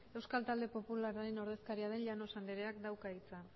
euskal talde popularraren ordezkaria den llanos andereak dauka hitza